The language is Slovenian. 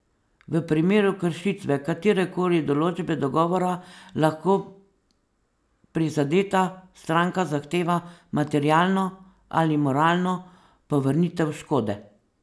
V primeru kršitve katerekoli določbe dogovora lahko prizadeta stranka zahteva materialno ali moralno povrnitev škode.